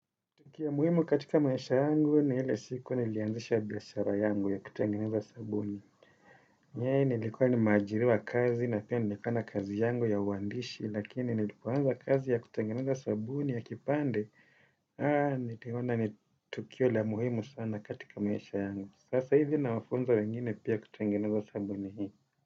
Kitu ya muhimu katika maisha yangu ni ile siku nilianzisha biashara yangu ya kutengeneza sabuni. Nyeri nilikuwa nimeajiriwa kazi na pia nilikuwa na kazi yangu ya uandishi lakini nilipoanza kazi ya kutengeneza sabuni ya kipande. Huh, niliona ni tukio la muhimu sana katika maisha yangu. Sasa hivi nawafunza wengine pia kutengeneza sabuni hii.